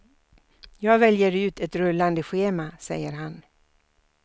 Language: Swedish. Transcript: Jag väljer ut ett rullande schema, säger han.